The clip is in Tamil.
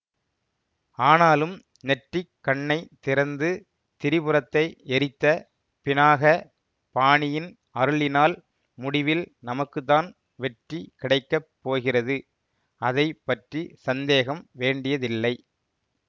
ஆனாலும் நெற்றிக் கண்ணை திறந்து திரிபுரத்தை எரித்த பினாக பாணியின் அருளினால் முடிவில் நமக்குத்தான் வெற்றி கிடைக்க போகிறது அதை பற்றி சந்தேகம் வேண்டியதில்லை